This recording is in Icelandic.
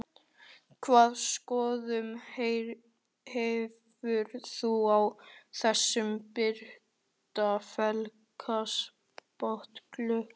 Hvaða skoðun hefurðu á þessum breytta félagaskiptaglugga?